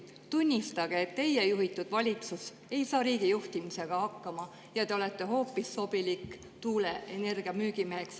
Tunnistage, et teie juhitud valitsus ei saa riigi juhtimisega hakkama ja te olete hoopis sobilik tuuleenergia müügimeheks.